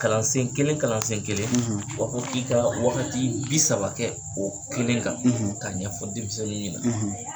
Kalansen kelen kalansen kelen; wa ko i ka waagati bi saba kɛ o kelen kan; ; ka ɲɛfɔ denmisɛninw ɲɛ nan;